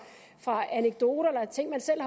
anekdoter eller ting man selv